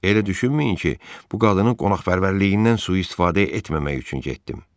Elə düşünməyin ki, bu qadının qonaqpərvərliyindən sui-istifadə etməmək üçün getdim.